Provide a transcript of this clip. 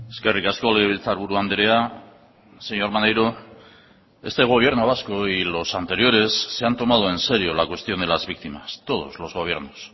eskerrik asko legebiltzarburu andrea señor maneiro este gobierno vasco y los anteriores se han tomado en serio la cuestión de las víctimas todos los gobiernos